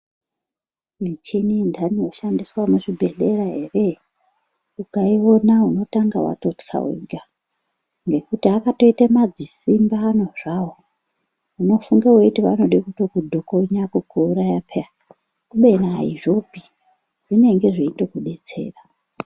Michini intani inoshandiswa muzvibhedhlera ere ukaiona unotanga watotka wega nekuti akatoite madzisimbi ano zvawo unofunge weiti vanode kutokudhokonya kukuuraya pe kubeni aizvopi vanenge veitokudetsera.